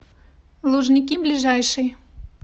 лужники ближайший